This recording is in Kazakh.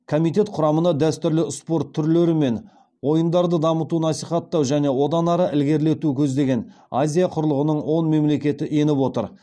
комитет құрамына дәстүрлі спорт түрлері мен ойындарды дамыту насихаттау және одан ары ілгерілету көздеген азия құрлығының он мемлекеті еніп отыр